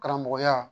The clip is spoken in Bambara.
Karamɔgɔya